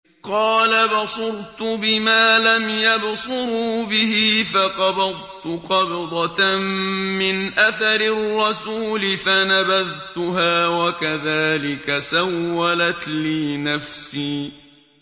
قَالَ بَصُرْتُ بِمَا لَمْ يَبْصُرُوا بِهِ فَقَبَضْتُ قَبْضَةً مِّنْ أَثَرِ الرَّسُولِ فَنَبَذْتُهَا وَكَذَٰلِكَ سَوَّلَتْ لِي نَفْسِي